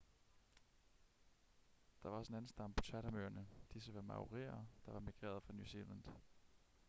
der var også en anden stamme på chatham-øerne disse var maorier der var migreret fra new zealand